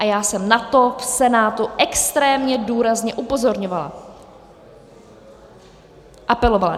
A já jsem na to v Senátu extrémně důrazně upozorňovala, apelovala.